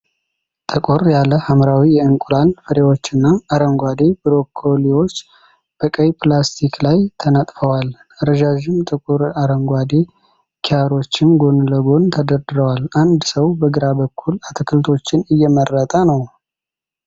ጠቆር ያለ ሐምራዊ የእንቁላል ፍሬዎችና አረንጓዴ ብሮኮሊዎች በቀይ ፕላስቲክ ላይ ተነጥፈዋል። ረዣዥም ጥቁር አረንጓዴ ኪያሮችም ጎን ለጎን ተደርድረዋል። አንድ ሰው በግራ በኩል አትክልቶችን እየመረጠ ነው።